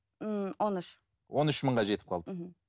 ммм он үш он үш мыңға жетіп қалды мхм